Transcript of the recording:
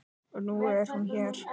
Og nú er hún hér.